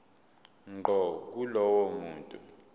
ngqo kulowo muntu